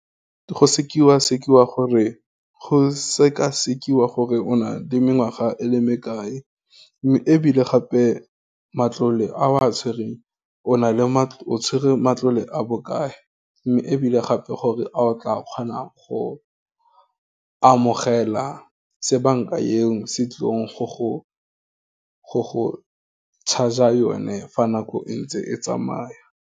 Go sekasekiwa gore o na le mengwaga e le me kae, mme ebile gape, matlole a wa tshwereng o tshwere matlole a bokae, mme ebile gape gore, a o tla kgona go amogela se banka e o se tlileng go go charger yone fa nako e ntse e tsamaya.